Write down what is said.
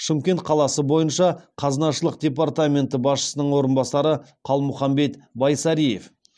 шымкент қаласы бойынша қазынашылық департаменті басшысының орынбасары қалмұханбет байсариев